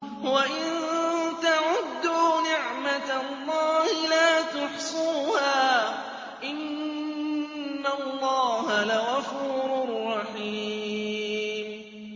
وَإِن تَعُدُّوا نِعْمَةَ اللَّهِ لَا تُحْصُوهَا ۗ إِنَّ اللَّهَ لَغَفُورٌ رَّحِيمٌ